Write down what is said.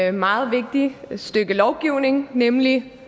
et meget vigtigt stykke lovgivning nemlig